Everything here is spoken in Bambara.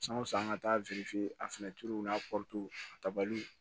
San o san an ka taa a fɛnɛ turu n'a